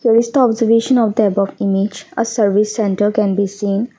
this the observation of the above image a service centre can be seen.